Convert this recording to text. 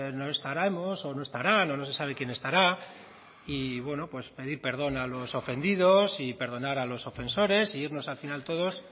no estaremos o no estará no se sabe quién estará y bueno pues pedir perdón a los ofendidos y perdonar a los ofensores e irnos al final todos